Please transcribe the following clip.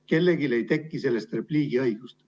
Kellelegi ei teki sellest repliigiõigust.